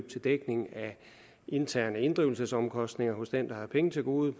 til dækning af interne inddrivelsesomkostninger hos den der har penge til gode